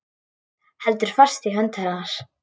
Heldur fast í hönd hennar.